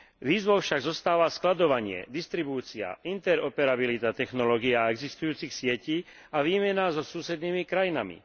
Výzvou však zostáva skladovanie, distribúcia, interoperabilita technológií a existujúcich sietí a výmena so susednými krajinami.